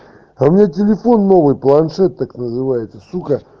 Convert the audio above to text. у меня телефон новый планшет так называется сука